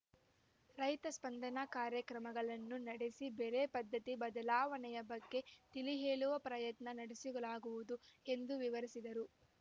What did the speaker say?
ರೈತ ಸ್ಪಂದನ ಕಾರ್ಯಕ್ರಮಗಳನ್ನು ನಡೆಸಿ ಬೆಳೆ ಪದ್ಧತಿ ಬದಲಾವಣೆಯ ಬಗ್ಗೆ ತಿಳಿಹೇಳುವ ಪ್ರಯತ್ನ ನಡೆಸಲಾಗುವುದು ಎಂದು ವಿವರಿಸಿದರು